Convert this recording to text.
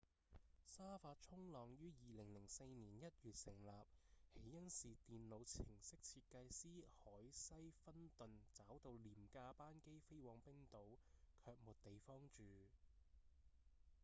沙發衝浪於2004年1月成立起因是電腦程式設計師凱西‧芬頓找到廉價班機飛往冰島卻沒地方住